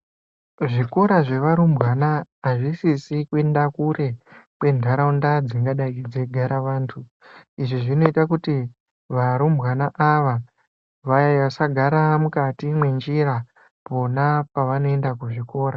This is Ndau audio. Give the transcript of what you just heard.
Zvikora zvevarumbwana azvisisi kuenda kure kwentaraunda dzingadai dzeigara vantu, izvi zvinoita kuti varumbwana ava vasagara mukati mwenjira pona pavanoenda kuzvikora.